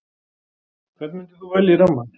Hvern myndir þú velja í rammann?